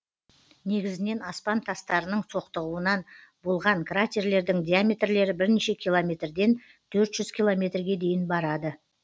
негізінен аспан тастарының соқтығуынан болған кратерлердің диаметрлері бірнеше километр ден төрт жүз километрге дейін барады